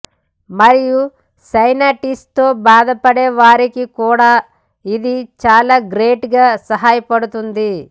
మరియు సైనటీస్ తో బాధపడే వారికి కూడా ఇది చాలా గ్రేట్ గా సహాయపడుతుంది